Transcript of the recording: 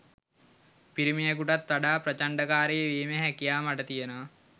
පිරිමියෙකුටත් වඩා ප්‍රචණ්ඩකාරී වීමේ හැකියාව මට තියෙනවා